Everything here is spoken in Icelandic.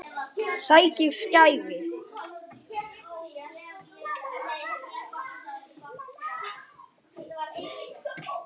Það vigtar ekki þungt.